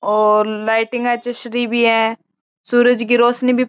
और लाइट भी चस री भी है सूरज की रौशनी भी --